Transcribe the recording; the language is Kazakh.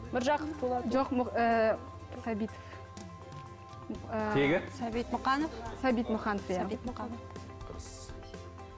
міржақып дулатұлы жоқ ііі сәбитов ііі тегі сәбит мұқанов сәбит мұқанов иә сәбит мұқанов дұрыс